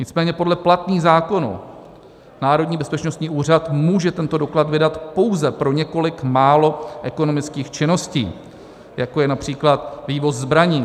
Nicméně podle platných zákonů Národní bezpečnostní úřad může tento doklad vydat pouze pro několik málo ekonomických činností, jako je například vývoz zbraní.